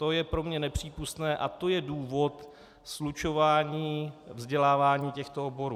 To je pro mě nepřípustné a to je důvod slučování vzdělávání těchto oborů.